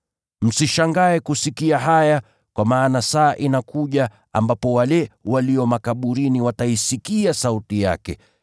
“Msishangae kusikia haya, kwa maana saa inakuja ambapo wale walio makaburini wataisikia sauti yake.